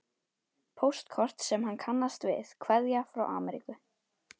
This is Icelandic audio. Póstkort sem hann kannast við, kveðja frá Ameríku.